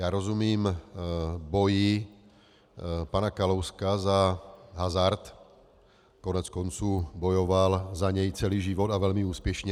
Já rozumím boji pana Kalouska za hazard, koneckonců bojoval za něj celý život a velmi úspěšně.